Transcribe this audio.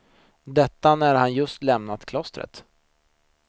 Detta när han just lämnat klostret.